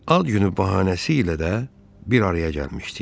Ad günü bəhanəsi ilə də bir araya gəlmişdik.